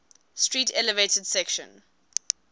street elevated section